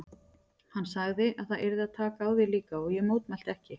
Hann sagði að það yrði að taka á því líka og ég mótmælti ekki.